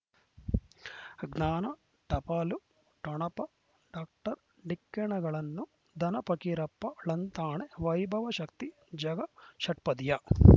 ಜ್ಞಾನ ಟಪಾಲು ಠೊಣಪ ಡಾಕ್ಟರ್ ಢಿಕ್ಕಿ ಣಗಳನು ಧನ ಫಕೀರಪ್ಪ ಳಂತಾನೆ ವೈಭವ್ ಶಕ್ತಿ ಝಗಾ ಷಟ್ಪದಿಯ